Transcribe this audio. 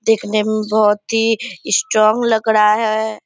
देखने में बहुत ही स्ट्रोंग लग रहा है।